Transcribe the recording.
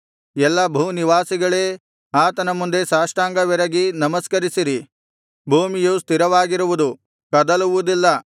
ಎಲ್ಲಾ ಭೂನಿವಾಸಿಗಳೇ ಆತನ ಮುಂದೆ ಸಾಷ್ಟಾಂಗವೆರಗಿ ನಮಸ್ಕರಿಸಿರಿ ಭೂಮಿಯು ಸ್ಥಿರವಾಗಿರುವುದು ಕದಲುವುದಿಲ್ಲ